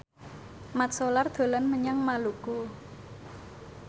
Mat Solar dolan menyang Maluku